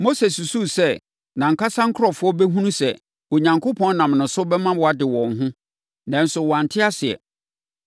Mose susuu sɛ nʼankasa nkurɔfoɔ bɛhunuu sɛ Onyankopɔn nam ne so bɛma wɔade wɔn ho, nanso wɔante aseɛ.